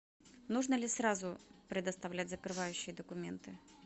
нужно ли сразу предоставлять закрывающие документы